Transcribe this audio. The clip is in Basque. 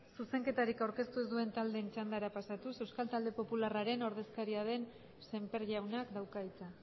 zuzenketarik aurkeztu ez duen taldeen txandara pasatuz euskal talde popularraren ordezkaria den sémper jaunak dauka hitza